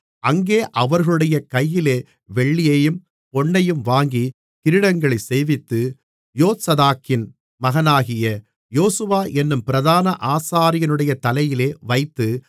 அங்கே அவர்களுடைய கையிலே வெள்ளியையும் பொன்னையும் வாங்கி கிரீடங்களைச் செய்வித்து யோத்சதாக்கின் மகனாகிய யோசுவா என்னும் பிரதான ஆசாரியனுடைய தலையிலே வைத்து